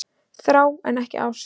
Þrá en ekki ást